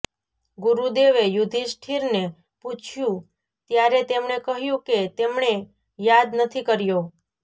ગુરુદેવે યુધિષ્ઠિરને પૂછ્યું ત્યારે તેમણે કહ્યું કે તેમણે યાદ નથી કર્યો